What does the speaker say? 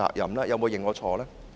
有沒有認錯呢？